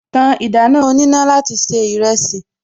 Ta ìdáná oníná láti se ìrẹsì